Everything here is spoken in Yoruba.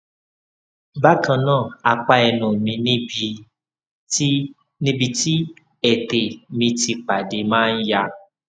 bakannaa apa ẹnu mi níbi tí níbi tí ẹtè mi ti pade ma n ya